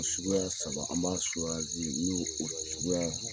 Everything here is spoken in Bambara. Suguya saba, an b'a ni o suguya